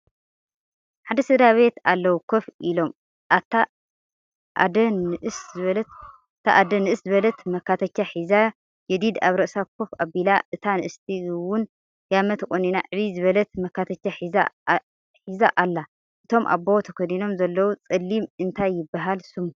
ሓደ ስድራቤት ኣለዉ ኮፍ ኢሎም እታ ኣደ ንእስ ዝበለት መካተቻ ሒዛ ጀዲድ ኣብ ርእሳ ኮፍ ኣቢላ እታ ንእስቲ ውን ጋመ ተቆኒና ዕብይ ዝበለት መካተቻ ሒዛ ኣሎ። እቶም ኣቦ ተከዲኖሞ ዘለዉ ፀሊም እንታይ ይበሃል ስሙ ?